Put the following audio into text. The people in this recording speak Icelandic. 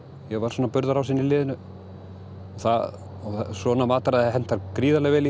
ég var svona burðarásinn í liðinu og svona mataræði hentar gríðarlega vel